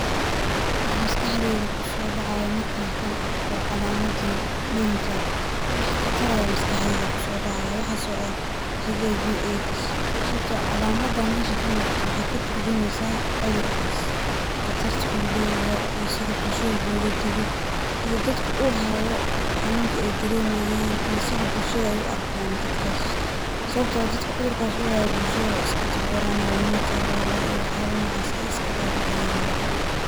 Waxa maskaxdeyda kusoo dhacayo markaan tan arko calamaddaan, danger wax khatar eh ayaa maskaxdeyda kusoo dhacayo ,waxasoo ah HIV AIDS ,sawabtoo ah calamddan meshaan ka muuqato waxey ka turjumeysaa cudurkaas ,khatrta uu leyahay iyo sida bulshada looga digo iyo dadka uu haayo xanuunka ay daremayaan iyo sida bulshada ay u arkaano dadkaas . Sawabtoo ah dadka cudurkaas uu haayo bulshada wey iska takoranaa, umaa nagula tallalaa iyo waxyaala nocaas ah ayey iska dhadhiciyaana.